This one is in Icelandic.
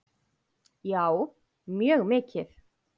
Já, mjög mikið.